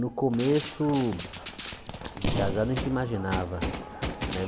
No começo, de casado, a gente imaginava, né?